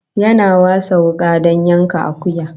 Yana wasa wuka don yanka akuya